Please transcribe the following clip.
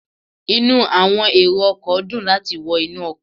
Inu àwọn èrò ọkọ̀ dùn láti wọ inú ọkọ̀